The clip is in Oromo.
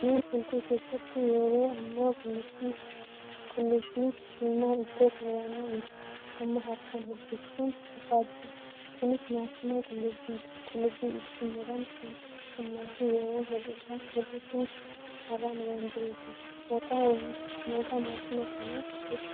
Manneen hedduu keessatti yeroo ammaa qullubbii diimaa ittoof muramu amma harkaan hojjachuun hafaa jira. Kunis maashina qullubbii ittiin muran kan humnaa fi yeroo hir'isu haaraan waan jiruufi. Maqaa maashina kanaa beektaa?